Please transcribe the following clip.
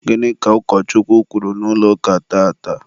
gịnị ka ụkọchukwu kwuru n'ụlọ ụka tata?